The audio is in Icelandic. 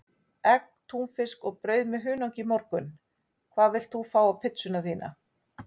Egg, túnfisk og brauð með hunangi í morgun Hvað vilt þú fá á pizzuna þína?